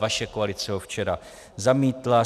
Vaše koalice ho včera zamítla.